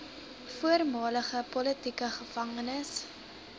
voormalige politieke gevangenes